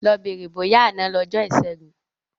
Lọ bèrè bóyá àná lọjọ́ ìṣẹ́gun.